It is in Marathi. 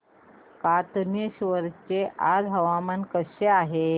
कातनेश्वर चे आज हवामान कसे आहे